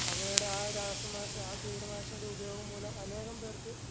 അവയുടെ ആ രാസനാശ ആ കീടനാശിനിയുടെ ഉപയോഗം മൂലം അനേകം പേർക്ക്